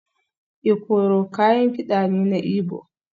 Ikoro kayan kida ne na Igbo